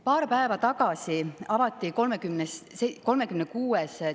Paar päeva tagasi avati 36.